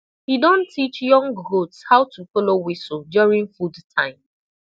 he don teach young goats how to follow whistle during food time